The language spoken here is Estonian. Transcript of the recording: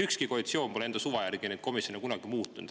Ükski koalitsioon pole kunagi enda suva järgi neid komisjone muutnud.